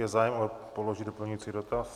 Je zájem položit doplňující dotaz?